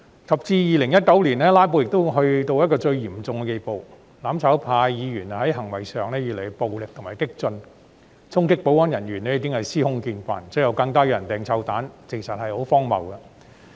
及至2019年，"拉布"已達到最嚴重的地步，"攬炒派"議員在行為上越趨暴力和激進，衝擊保安人員已是司空見慣，最後更有人投擲臭蛋，簡直荒謬。